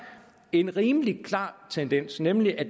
en rimelig klar tendens nemlig at